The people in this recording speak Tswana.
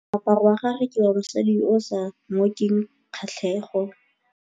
Moaparô wa gagwe ke wa mosadi yo o sa ngôkeng kgatlhegô.